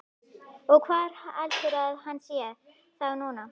Og hvar heldurðu að hann sé þá núna?